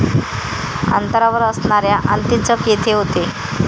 अंतरावर असणाऱ्या अंतीचक येथे होते.